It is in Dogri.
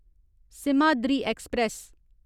सिमहाद्री ऐक्सप्रैस